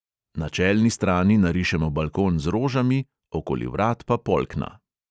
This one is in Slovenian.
Na čelni strani narišemo balkon z rožami, okoli vrat pa polkna.